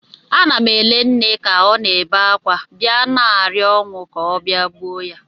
Ana m ele nne ka ọ na-ebe akwa, bịa na-arịọ ọnwụ ka ọ bịa gbuo ya